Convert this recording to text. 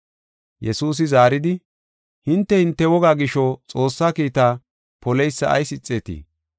Yesuusi zaaridi, “Hinte, hinte wogaa gisho, Xoossaa kiitaa poleysa ayis ixeetii?